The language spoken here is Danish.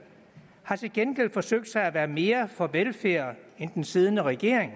har til gengæld forsøgt sig med at være mere for velfærd end den siddende regering